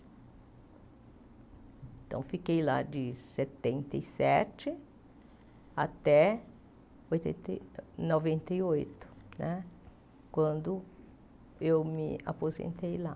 Então, fiquei lá de setenta e sete até noventa e oito, quando eu me aposentei lá.